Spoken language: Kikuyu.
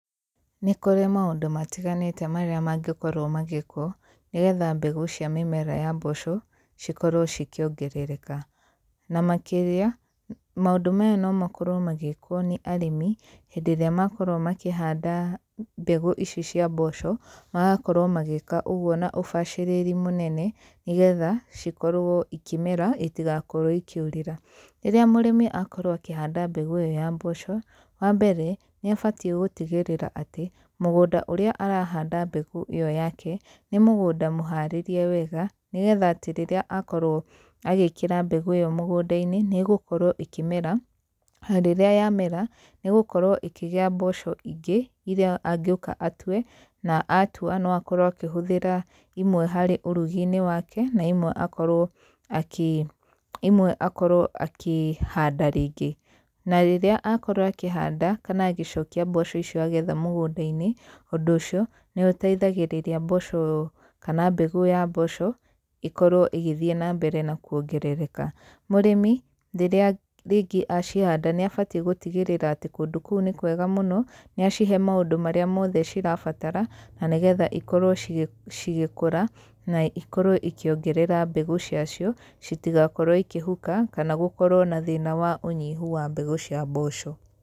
Nĩ kũrĩ maũndũ matiganĩte marĩa mangĩkorwo magĩkwo, nĩgetha mbegũ cia mĩmera ya mboco, cikorwo cikĩongerereka. Na makĩria, maũndũ maya no makorwo magĩkwo nĩ arĩmi, hĩndĩ ĩrĩa makorwo makĩhanda mbegũ ici cia mboco, magakorwo magĩĩka ũgũo na ũbacĩrĩri mũnene, nĩgetha, cikorwo ikĩmera, itigakorwo ikĩũrĩra. Rĩrĩa mũrĩmi akorwo akĩhanda mbegũ ĩyo ya mboco, wa mbere, nĩ abatiĩ gũtigĩrĩra atĩ, mũgũnda ũrĩa arahanda mbegũ ĩyo yake, nĩ mũgũnda mũharĩrĩrie wega, nĩgetha atĩ rĩrĩa akorwo agĩkĩra mbegũ ĩyo mũgũnda-inĩ, nĩ ĩgĩkorwo ĩkĩmera, na rĩrĩa yamera nĩ ĩgĩkorwo ĩkĩgĩa mboco ingĩ, irĩa angĩũka atue, na aatua, no akorwo akĩhũthĩra imwe harĩ ũrugi-inĩ wake, na imwe akorwo imwe akorwo akĩhanda rĩngĩ. Na rĩrĩa akorwo akĩhanda, kana agĩcokia mboco icio agetha mũgũnda-inĩ, ũndũ ũcio, nĩ ũteithagĩrĩria mboco kana mbegũ ya mboco, ĩkorwo ĩgĩthiĩ na mbere na kuongerereka. Mũrĩmi, rĩrĩa rĩngĩ acihanda nĩ abatiĩ gũtigĩrĩra atĩ kũndũ kũu nĩ kwega mũno, nĩ acihe maũndũ marĩa mothe cirabatara, na nĩgetha ikorwo cigĩkũra, na ikorwo ikĩongerera mbegũ cia cio, citigakorwo ikĩhuka, kana gũkorwo na thĩna wa ũnyihu wa mbegũ cia mboco.